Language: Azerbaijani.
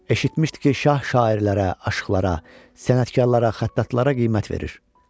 Eşitmişdi ki, şah şairlərə, aşıqlara, sənətkarlara, xəttatlara qiymət verir.